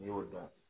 N'i y'o dɔn